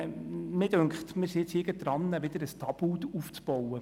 Mich dünkt, wir bauen hier gerade wieder ein neues Tabu auf.